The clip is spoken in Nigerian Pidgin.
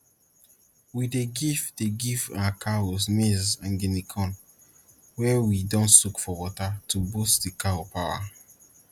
we dey give dey give our cows maize and guinea corn wey we don soak for water to boost d cow power